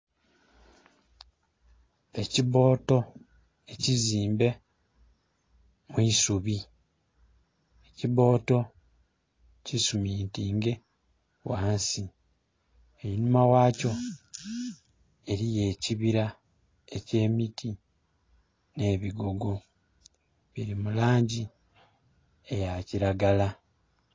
Ekibboto ekizimbe mu isubi, ekibboto kisumintinge wansi einhuma ghakyo eriyo ekibira eky'emiti ne bigogo biri mu langi eya kiragala.